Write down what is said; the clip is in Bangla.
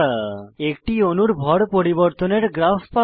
একটি অণুর ভর পরিবর্তনের গ্রাফ পাওয়া